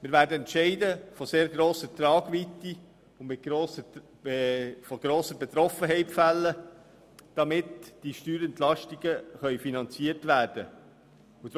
Wir werden Entscheide von sehr grosser Tragweite fällen, von denen viele Menschen betroffen sein werden, damit diese Steuerentlastungen finanziert werden können.